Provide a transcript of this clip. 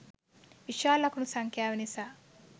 විශාල ලකුණු සංඛ්‍යාව නිසා